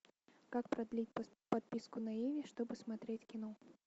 как продлить подписку на иви чтобы смотреть кино